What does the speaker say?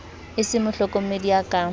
e se mohlokomedi ya ka